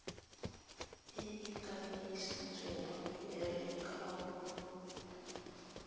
e e kanisitsweng ya lekwaloitshupo